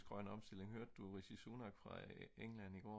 grøn omstilling hørte du Rishi Sunak fra England i går